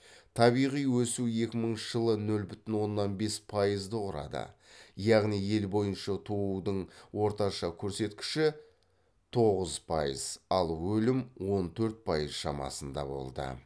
табиғи өсу екі мыңыншы жылы нөл бүтін оннан бес пайызды құрады яғни ел бойынша туудың орташа көрсеткіші тоғыз пайыз ал өлім он төрт пайыз шамасында болды